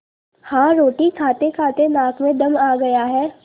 हाँ रोटी खातेखाते नाक में दम आ गया है